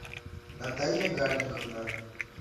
наталья гарниковна